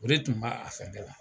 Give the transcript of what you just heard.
O de tun b'a fɛn ne la.